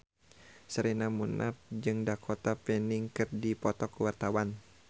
Sherina Munaf jeung Dakota Fanning keur dipoto ku wartawan